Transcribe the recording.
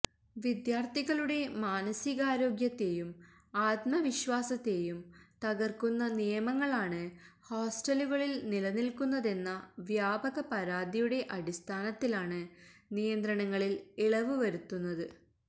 വിദ്യാര്ത്ഥികളുടെ മാനസികാരോഗ്യത്തെയും ആത്മവിസ്വാസത്തേയും തകര്ക്കുന്ന നിയമങ്ങളാണ് ഹോസ്റ്റലുകളില് നിലനില്ക്കുന്നതെന്ന വ്യാപക പരാതിയുടെ അടിസ്ഥാനത്തിലാണ് നിയന്ത്രണങ്ങളില് ഇളവ് വരുത്തുന്നത്